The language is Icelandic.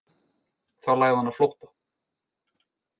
Þá lagði hann á flótta